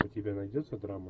у тебя найдется драма